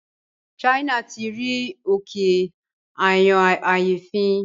China tí rí òkè ayọnáyèéfín